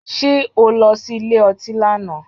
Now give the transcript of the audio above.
Ṣé o lọ sí ilé ọtí lánàá?